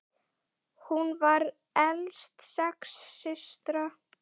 Hún var elst sex systra.